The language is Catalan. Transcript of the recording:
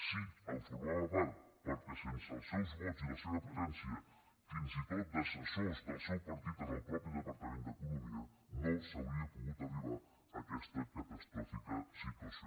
sí en formava part perquè sense els seus vots i la seva presència fins i tot d’assessors del seu partit en el mateix departament d’economia no s’hauria pogut arribar a aquesta catastròfica situació